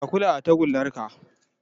Ka kula da tagullar ka